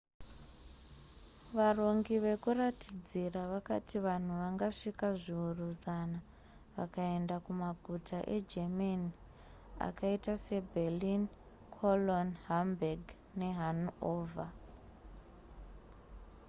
varongi vekuratidzira vakati vanhu vangasvika zviuru zana vakaenda kumaguta egermany akaita se berlin cologne hamburg ne hanover